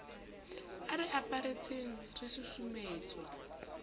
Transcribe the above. a re aparetseng re susumetswa